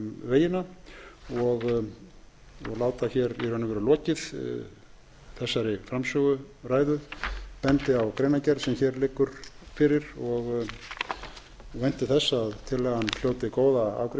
vegina og lát hér lokið þessari framsöguræðu ég bendi á greinargerð sem hér liggur fyrir og vænti þess að tillagan hljóti góða